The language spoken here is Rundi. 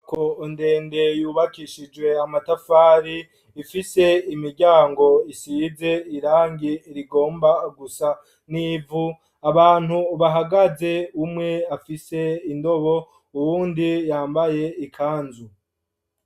Inzu ndende yubakishijwe amatafari ,ifise imiryango isize irangi rigomba gusa n'ivu, abantu bahagaze umwe afise indobo, uwundi yambaye ikanzu.